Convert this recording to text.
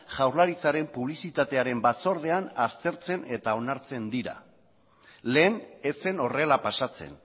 jaurlaritzaren publizitatearen batzordean aztertzen eta onartzen dira lehen ez zen horrela pasatzen